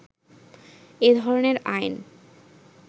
এ ধরনের আইন